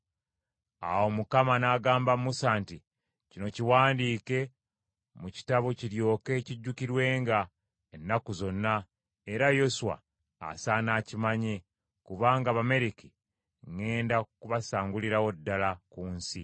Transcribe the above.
Awo Mukama n’agamba Musa nti, “Kino kiwandiike mu kitabo kiryoke kijjukirwenga ennaku zonna, era Yoswa asaana akimanye, kubanga Abamaleki ŋŋenda kubasangulirawo ddala ku nsi.”